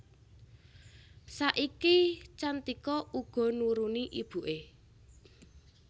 Saiki Cantika uga nuruni ibuké